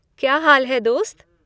क्या हाल है, दोस्त?